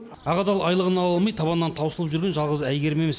ақ адал айлығын ала алмай табанынан таусылып жүрген жалғыз әйгерім емес